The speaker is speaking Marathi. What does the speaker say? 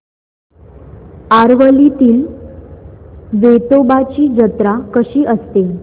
आरवलीतील वेतोबाची जत्रा कशी असते